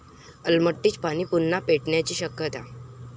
अलमट्टीचं पाणी पुन्हा पेटण्याची शक्यता!